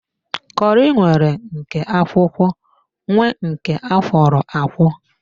Kọri nwere nke akwụkwọ nwee nke akwọro akwọ